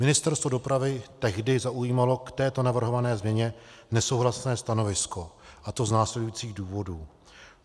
Ministerstvo dopravy tehdy zaujímalo k této navrhované změně nesouhlasné stanovisko, a to z následujících důvodů: